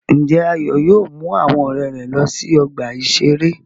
Ǹjẹ́ Ayọ̀ yóò mú àwọn ọmọ rẹ̀ lọ sí ọgbà-ìṣeré?